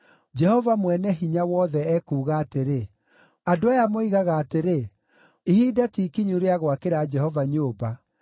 Jehova Mwene-Hinya-Wothe ekuuga atĩrĩ, “Andũ aya moigaga atĩrĩ, ‘Ihinda ti ikinyu rĩa gwakĩra Jehova nyũmba.’ ”